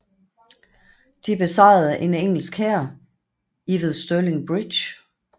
De besejrede en engelsk hær i ved Stirling Bridge